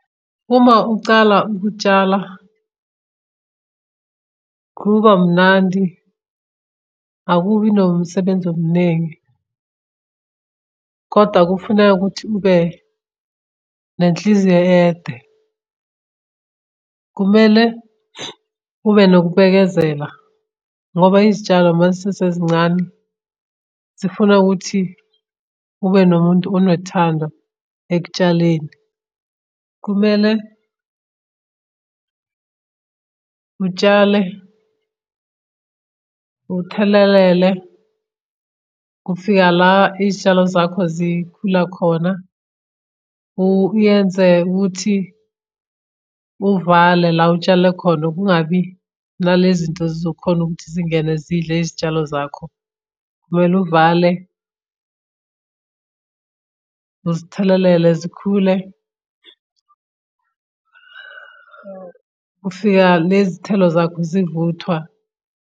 Uma ucala ukutshala kuba mnandi. Akubi nomsebenzi omningi, kodwa kufuneka ukuthi ube nenhliziyo ede. Kumele ube nokubekezela, ngoba izitshalo mase sesezincane zifuna ukuthi ube nomuntu onothando ekutshaleni. Kumele utshale, uthelelele, kufika la izitshalo zakho zikhula khona. Uyenze ukuthi uvale la utshale khona, kungabi nale zinto zokhona ukuthi zingene zidle izitshalo zakho. Kumele uvale uzithelelele zikhule, kufika lezi thelo zakho zivuthwa.